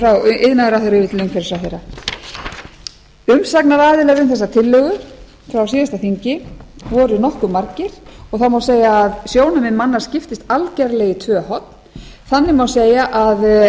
iðnaðarráðherra yfir til umhverfisráðherra umsagnaraðilar um þessa tillögu frá síðasta þingi voru nokkuð margir og það má segja að sjónarmið manna skiptist algerlega í tvö horn þannig má segja að